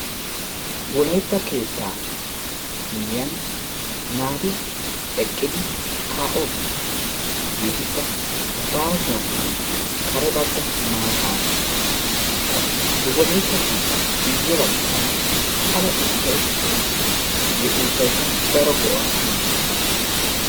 Wolaytta keettaa miyyiyan naati eqqidi kaa"oosona hegeetikka baasuwaninne kare bagga maatana qassi he wolaytta keettaappe guyye baggaara ala uuttayi de"es. Hegee uuttaykka daro go"aa immes.